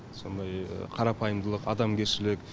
сондай қарапайымдылық адамгершілік